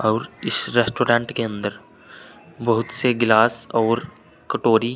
और इस रेस्टोरेंट के अंदर बहुत से गिलास और कटोरी--